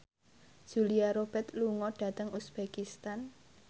Julia Robert lunga dhateng uzbekistan